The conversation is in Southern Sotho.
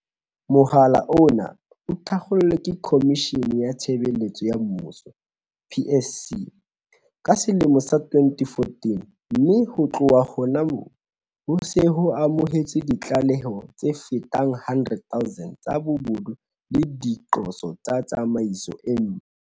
Mohala ona o ne o thakgolwe ke Khomishene ya Tshebeletso ya Mmuso, PSC, ka selemo sa 2014, mme ho tloha hona hoo, ho se ho amohetswe ditlaleho tse fetang 100 000 tsa bobodu le diqoso tsa tsamaiso e mpe.